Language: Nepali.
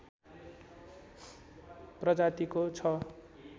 प्रजातिको छ